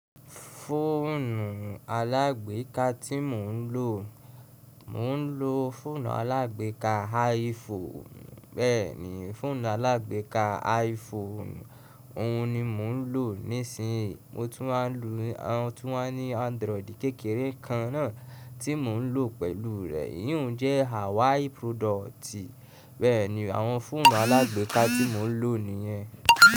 Fóònù alágbèká tí mò ń lò, mò ń lò foònù alágbéká iPhone. Bẹ́ẹ̀ ni, fọ́ònù alágbéká iPhone, òhun ni mò ń lò nísìn yí. Mo tún máa ń lo, mo tún wa ní Android kékeré kan náà tí mò ń lò pẹ̀lú rẹ̀. Eyi hun jẹ́ Hawaii product. Bẹ́ẹ̀ ni, àwọn fóònù alágbeká tí mò ń lò nìyẹn.